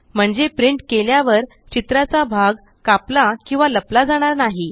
म्हणजे प्रिंट केल्यावर चित्राचा भाग कापला किंवा लपला जाणार नाही